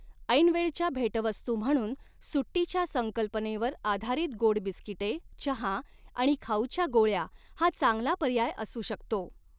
ऐनवेळच्या भेटवस्तू म्हणून सुट्टीच्या संकल्पनेवर आधारित गोड बिस्किटे, चहा आणि खाऊच्या गोळ्या हा चांगला पर्याय असू शकतो.